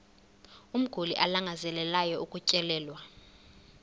umguli alangazelelayo ukutyelelwa